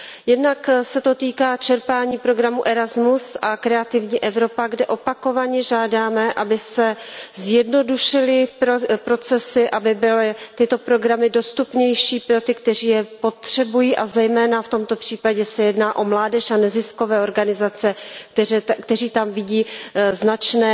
Jednak se to týká čerpání programu Erasmus a Kreativní Evropa, kde opakovaně žádáme, aby se zjednodušily procesy, aby byly tyto programy dostupnější pro ty, kteří je potřebují, a zejména v tomto případě se jedná o mládež a neziskové organizace, které tam vidí značné